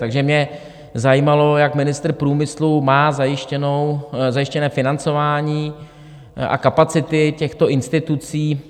Takže mě zajímalo, jak ministr průmyslu má zajištěné financování a kapacity těchto institucí.